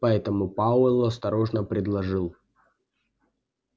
поэтому пауэлл осторожно предложил